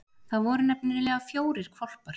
Það voru nefnilega fjórir hvolpar.